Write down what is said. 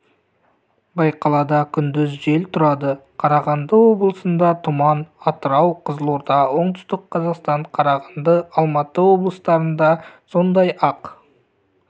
байқалады күндіз жел тұрады қарағанды облысында тұман атырау қызылорда оңтүстік қазақстан қарағанды алматы облыстарында сондай-ақ